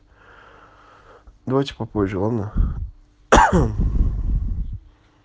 давайте попозже ладно